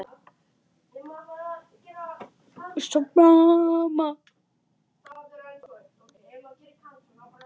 Viltu nú fara!